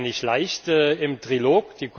Das war ja nicht leicht im Trilog.